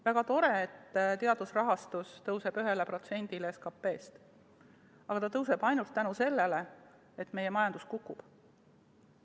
Väga tore, et teaduse rahastus tõusis 1%-le SKP-st, aga see tõuseb ainult tänu sellele, et meie majandus kukub.